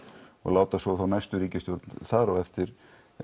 og láta svo þá næstu ríkisstjórn þar á eftir